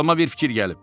Ağılıma bir fikir gəlib.